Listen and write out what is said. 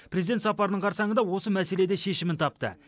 президент сапарының қарсаңында осы мәселе де шешімін тапты